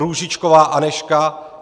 Růžičková Anežka